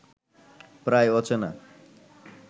প্রায় অচেনা